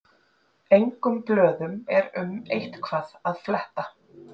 Engum blöðum er um eitthvað að fletta